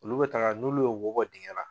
Oluu bɛ taaga n'olu ye wobɔ dingɛla.